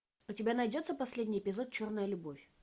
у тебя найдется последний эпизод черная любовь